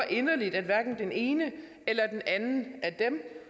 inderligt at hverken den ene eller den anden af dem